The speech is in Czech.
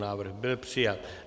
Návrh byl přijat.